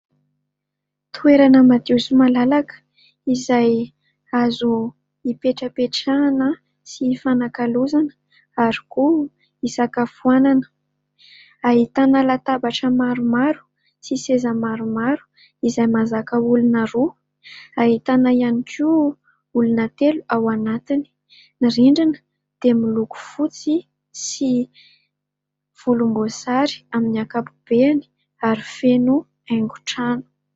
Toeana madio sy malalaka izay azo hipetrapetrahana sy hifanakalozana ary koa hisakafoanana. Ahitana latabatra maromaro sy seza maromaro izay mahazaka olona roa. Ahitana ihany koa olona telo ao anatiny. Ny rindrina dia miloko fotsy sy volomboasary amin'ny ankapobeny ary feno haingon-trano.